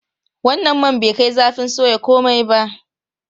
Wannan man bai kai zafin soya komai ba.